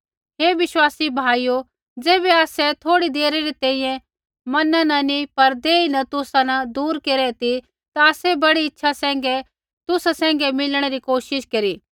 हे विश्वासी भाइयो ज़ैबै आसै थोड़ी देरै री तैंईंयैं मना न नैंई पर देही न तुसा न दूर केरै ती ता आसै बड़ी इच्छा सैंघै तुसा सैंघै मिलणै री कोशिश केरी